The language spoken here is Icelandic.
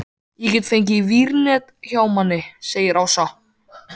Ég get fengið vírnet hjá manni segir Ása.